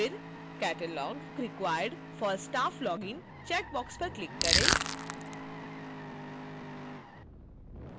फिर catalogue required for staff login checkbox पर click करें